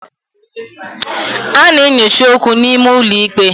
A na-enyocha okwu n'ime ụlọ ikpe.